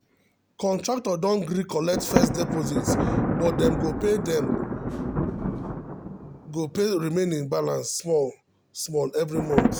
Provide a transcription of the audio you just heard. contractor don gree collect first deposit but dem go pay dem go pay remaining balance small um small every month